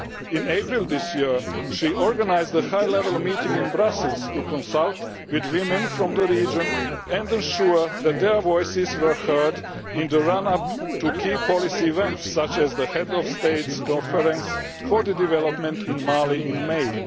In April this year, she organised a high level meeting in Brussels to consult with women from the region and ensure that their voices were heard in the run up to key policy events such as the Heads of States Conference for the development of Mali in May.